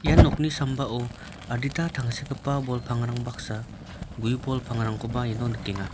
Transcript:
ia nokni sambao adita tangsekgipa bol pangrang baksa gue bol pangrangkoba iano nikenga.